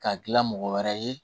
K'a dilan mɔgɔ wɛrɛ ye